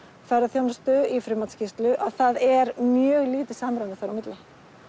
ferðaþjónustu í frummatsskýrslu að það er mjög lítið samræmi þar á milli